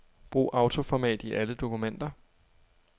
Brug autoformat i alle dokumenter.